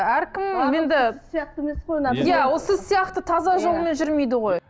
әркім енді сіз сияқты емес қой иә сіз сияқты таза жолмен жүрмейді ғой